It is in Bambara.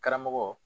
Karamɔgɔ